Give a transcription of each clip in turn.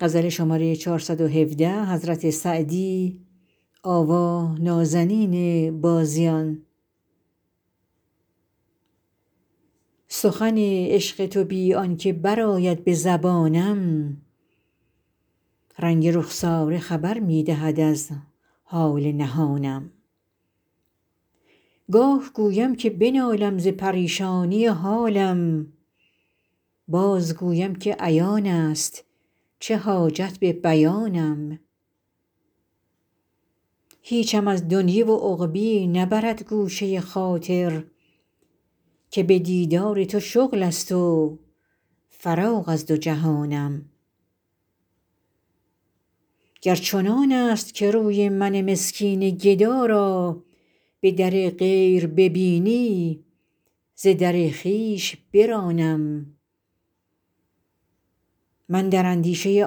سخن عشق تو بی آن که برآید به زبانم رنگ رخساره خبر می دهد از حال نهانم گاه گویم که بنالم ز پریشانی حالم بازگویم که عیان است چه حاجت به بیانم هیچم از دنیی و عقبیٰ نبرد گوشه خاطر که به دیدار تو شغل است و فراغ از دو جهانم گر چنان است که روی من مسکین گدا را به در غیر ببینی ز در خویش برانم من در اندیشه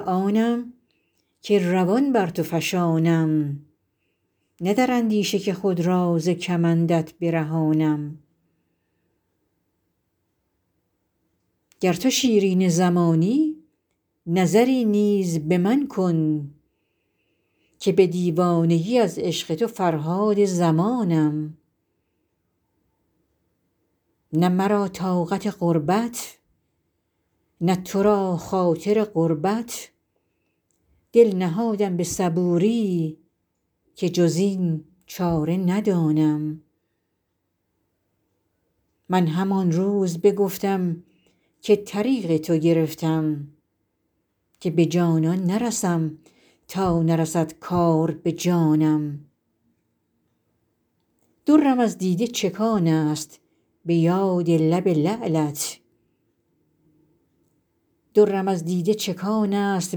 آنم که روان بر تو فشانم نه در اندیشه که خود را ز کمندت برهانم گر تو شیرین زمانی نظری نیز به من کن که به دیوانگی از عشق تو فرهاد زمانم نه مرا طاقت غربت نه تو را خاطر قربت دل نهادم به صبوری که جز این چاره ندانم من همان روز بگفتم که طریق تو گرفتم که به جانان نرسم تا نرسد کار به جانم درم از دیده چکان است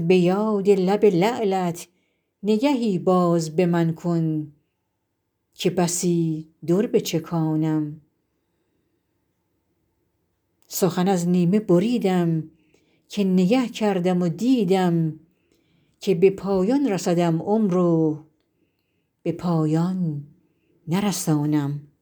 به یاد لب لعلت نگهی باز به من کن که بسی در بچکانم سخن از نیمه بریدم که نگه کردم و دیدم که به پایان رسدم عمر و به پایان نرسانم